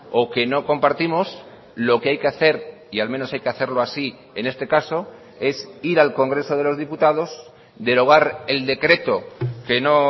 o que no compartimos lo que hay que hacer y al menos hay que hacerlo así en este caso es ir al congreso de los diputados derogar el decreto que no